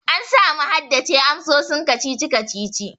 An samu haddace amsoshin kacici kacici.